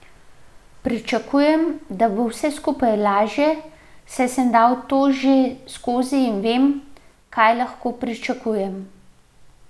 Pričakujem, da bo vse skupaj lažje, saj sem dal to že skozi in vem, kaj lahko pričakujem.